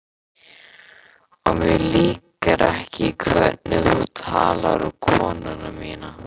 Og mér líkar ekki hvernig þú talar um konuna mína